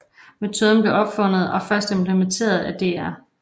Metoden blev opfundet og først implementeret af Dr